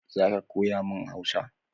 Zo ka koya mun hausa